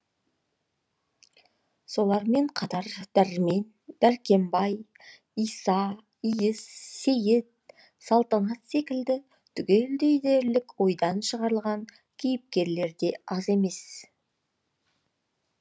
солармен қатар дәрмен дәркембай иса иіс сейіт салтанат секілді түгелдей дерлік ойдан шығарылған кейіпкерлер де аз емес